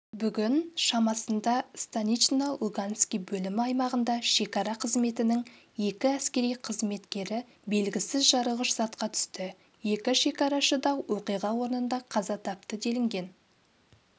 бүгін шамасында станично-луганский бөлімі аймағында шекара қызметінің екі әскери қызметкерібелгісіз жарылғыш затқа түсті екі шекарашы да оқиға орнында қаза тапты делінген